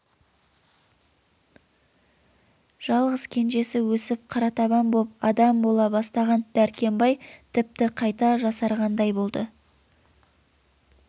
жалғыз кенжесі өсіп қаратабан боп адам бола бастаған дәркембай тіпті қайта жасарғандай болды